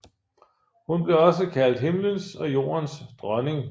Hun blev også kaldt Himlens og Jordens dronning